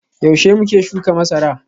Yaushe muke shuka masara?